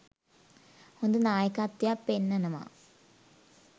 හොඳ නායකත්වයක් පෙන්නනව.